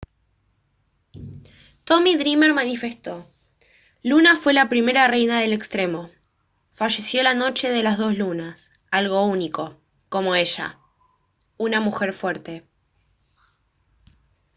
tommy dreamer manifestó: «luna fue la primera reina del extremo. falleció la noche de las dos lunas algo único como ella. una mujer fuerte»